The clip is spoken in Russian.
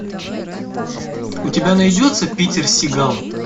у тебя найдется питер сигал